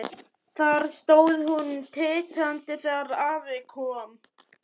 Þar stóð hún titrandi þegar afi kom.